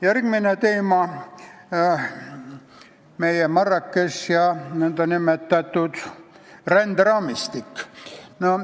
Järgmine teema, Marrakech ja nn ränderaamistik.